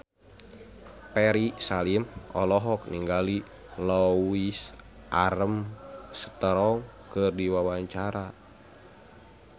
Ferry Salim olohok ningali Louis Armstrong keur diwawancara